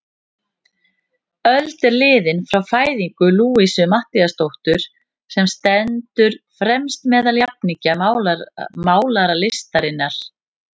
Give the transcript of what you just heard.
Öld er liðin frá fæðingu Louisu Matthíasdóttur, sem stendur fremst meðal jafningja málaralistarinnar.